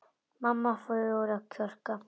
Mamma fór að kjökra.